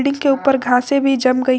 इसके ऊपर घासे भी जम गई --